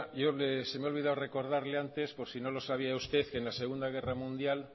se me ha olvidado recordarle antes por si no lo sabía usted que en la segundo guerra mundial